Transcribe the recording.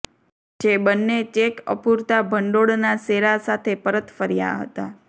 જે બન્ને ચેક અપુરતા ભંડોળના શેરા સાથે પરત ફર્યા હતા